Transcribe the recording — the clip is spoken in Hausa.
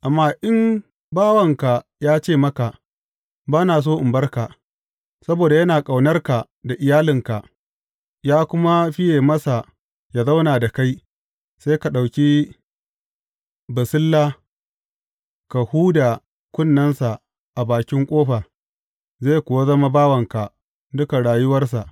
Amma in bawanka ya ce maka, Ba na so in bar ka, saboda yana ƙaunarka da iyalinka, ya kuma fiye masa yă zauna da kai, sai ka ɗauki basilla ka huda kunnensa a bakin ƙofa, zai kuwa zama bawanka dukan rayuwarsa.